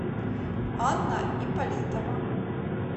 анна ипполитова